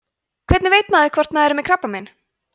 hvernig veit maður hvort maður er með krabbamein